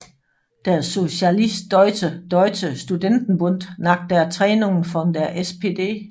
Der Sozialistische Deutsche Studentenbund nach der Trennung von der SPD